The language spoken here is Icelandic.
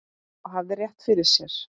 Og hafði rétt fyrir sér.